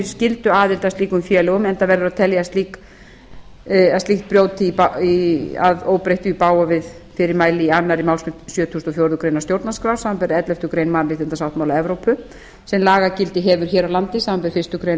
að slíkum félögum enda verður að telja að slíkt brjóti að óbreyttu í bága við fyrirmæli í annarri málsgrein sjötugustu og fjórðu grein stjórnarskrár samkvæmt elleftu grein mannréttindasáttmála evrópu sem lagagildi hefur hér á landi samanber fyrstu grein laga númer sextíu og